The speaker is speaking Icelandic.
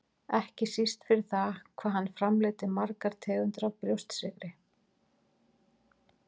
ekki síst fyrir það hvað hann framleiddi margar tegundir af brjóstsykri.